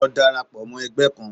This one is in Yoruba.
Lọ darapọ̀ mọ ẹgbẹ́ kan!